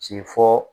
Ci fɔ